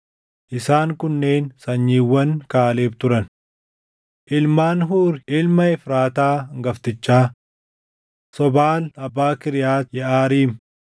Isaan kunneen sanyiiwwan Kaaleb turan. Ilmaan Huuri ilma Efraataa hangaftichaa: Sobaal abbaa Kiriyaati Yeʼaariim,